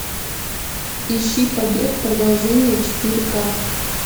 ищи побег продолжение четыре ка